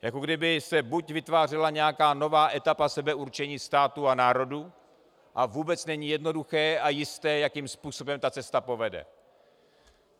Jako kdyby se buď vytvářela nějaká nová etapa sebeurčení států a národů, a vůbec není jednoduché a jisté, jakým způsobem ta cesta povede.